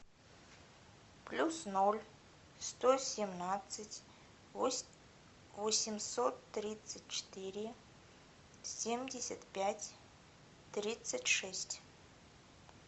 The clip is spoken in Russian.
плюс ноль сто семнадцать восемьсот тридцать четыре семьдесят пять тридцать шесть